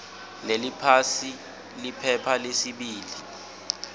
leliphasi liphepha lesibili